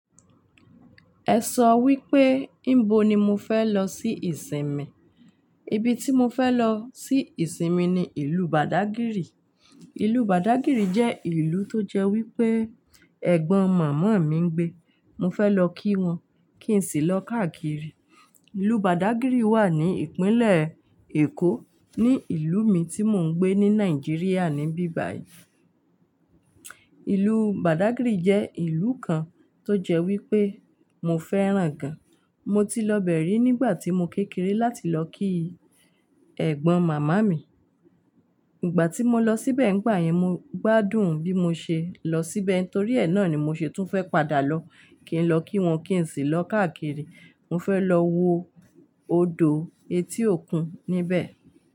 Ẹ sọ wípé níbo ni mo fẹ́ lọ sí ìsinmi. Ibi tí mo fẹ́ lọ sí ìsinmi ni ìlú Bàdágìrì. Ìlú Bàdágìrì jẹ́ ìlú tó jẹ́ wípé ẹ̀gbọ́n màmá mi ń gbé. Mo fẹ́ lọ kí wọn kí n sì lọ káàkiri. Ìlú Bàdágìrì wà ní ìpínlẹ̀ Èkó, ní ìlú mi tí mò ń gbé ní Nàìjíríà níbí báyìí. Ìlú Bàdágìrì jẹ́ ìlú kan tó jẹ́ wípé mo fẹ́ràn gan. Mo ti lọ bẹ̀rẹ̀ nígbà tí mo kékeré láti lọ kí ẹ̀gbọ́n màmá mi. Nígbà tí mo lọ síbẹ̀ nígbà yẹn, mo gbádùn bí mo ṣe lọ síbẹ̀ torí ẹ̀ náà ni mo ṣe tún fẹ́ padà lọ, kí n lọ kí wọn kí n sì lọ káàkiri. Mo fẹ́ lọ wo odò etí òkun níbẹ̀.